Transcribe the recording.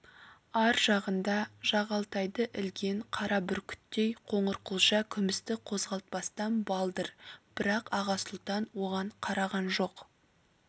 ар жағында жағалтайды ілген қара бүркіттей қоңырқұлжа күмісті қозғалтпастан балдыр бірақ аға сұлтан оған қараған жоқ